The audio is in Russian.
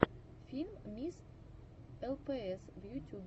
фильм мисс лпс в ютюбе